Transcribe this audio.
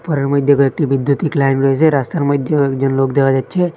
ঘরের মইধ্যে কয়েকটি বিদ্যুতিক লাইন রয়েছে রাস্তার মইধ্যে কয়েকজন লোক দেখা যাচ্ছে।